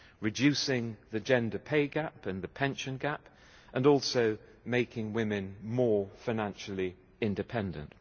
reducing the gender pay gap and the pension gap, and also making women more financially independent.